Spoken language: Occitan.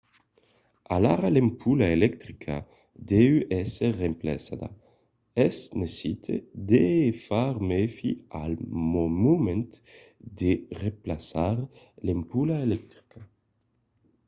alara l'ampola electrica deu èsser remplaçada. es necite de far mèfi al moment de remplaçar l'ampola electrica